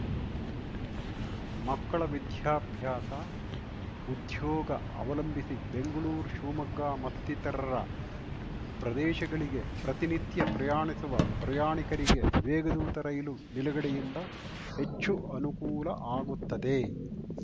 ಮಕ್ಕಳ ವಿದ್ಯಾಭ್ಯಾಸ ಉದ್ಯೋಗ ಅವಲಂಭಿಸಿ ಬೆಂಗ್ಳೂರು ಶಿವಮೊಗ್ಗ ಮತ್ತಿತರರ ಪ್ರದೇಶಗಳಿಗೆ ಪ್ರತಿನಿತ್ಯ ಪ್ರಯಾಣಿಸುವ ಪ್ರಯಾಣಿಕರಿಗೆ ವೇಗದೂತ ರೈಲು ನಿಲುಗಡೆಯಿಂದ ಹೆಚ್ಚು ಅನುಕೂಲ ಆಗುತ್ತದೆ